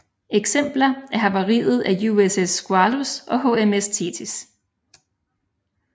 Eksempler er havariet af USS Squalus og HMS Thetis